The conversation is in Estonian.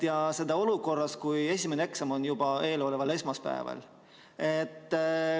Ja seda olukorras, kus esimene eksam on juba eeloleval esmaspäeval.